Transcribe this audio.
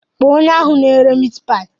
Kpọọ onye ahụ na-ere miit paayi.